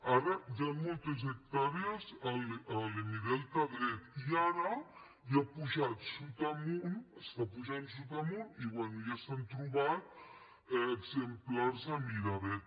ara hi han moltes hectàrees a l’hemidelta dret i ara ja ha pujat sud amunt està pujant sud amunt i bé ja se n’han trobat exemplars a miravet